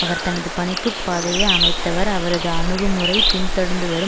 அவர் தனது பணிக்கு பாதையை அமைத்தவர் அவரது அணுகுமுறை பின்தொடர்ந்துவரும்